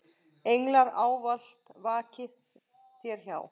Englar ávallt vaki þér hjá.